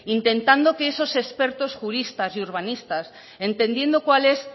intentando que esos expertos juristas y urbanistas entendiendo cuál es